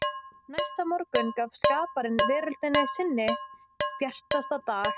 Næsta morgun gaf skaparinn veröldinni sinn bjartasta dag.